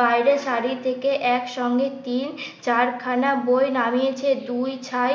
বাইরের সারি থেকে একসঙ্গে তিন চার খানা বই নামিয়েছে। দূর ছাই